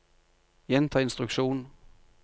gjenta instruksjon